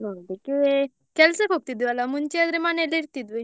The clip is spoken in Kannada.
ನೋಡ್ಲಿಕ್ಕೆ ಕೆಲ್ಸಕ್ಕೆ ಹೋಗ್ತಿದ್ದೇವೆ ಅಲ್ವಾ ಮುಂಚೆ ಆದ್ರೆ ಮನೆಯಲ್ಲೇ ಇರ್ತಿದ್ವಿ.